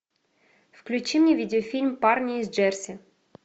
включи мне видеофильм парни из джерси